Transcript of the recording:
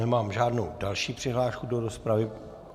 Nemám žádnou další přihlášku do rozpravy.